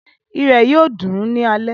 Irẹ̀ yóò dùn ní alẹ́